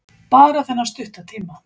Bara þennan stutta tíma.